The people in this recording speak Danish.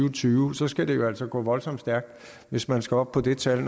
og tyve så skal det jo altså gå voldsomt stærkt hvis man skal op på det tal